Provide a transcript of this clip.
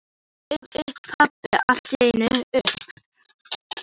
Svo stóð pabbi allt í einu upp.